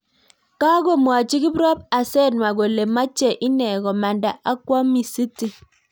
Kakomwachii kiprop asenwa kolee machee inee komandaa akwaa misiti